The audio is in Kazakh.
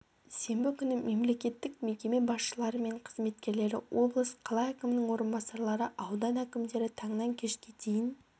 сенбі күні мемлекеттік мекеме басшылары мен қызметкерлері облыс қала әкімінің орынбасарлары аудан әкімдері таңнан кешке дейін